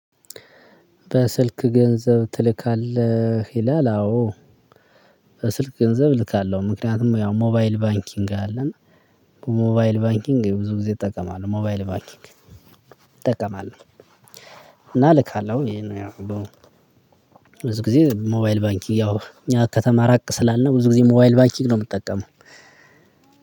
በስልክ ገንዘብ ትልካለህ? ይላል አዎ በስልክ ገንዘብ ልካለሁ ምክንያቱም ያው ሞባይል ባንኪንግ አለ ሞባይል ባንኪንግ ብዙ ጊዜ እጠቀማለሁ። ሞባይል ባንኪንግ እጠቀማለሁ። እና እልካለሁ ይሄ ነው ያው በው ብዙ ጊዜ ሞባይል ባንኪ ያው ከተማ ራቅ ስላልነው ብዙ ጊዜ ሞባይል ባንኪክ ነው የምጠቀመው።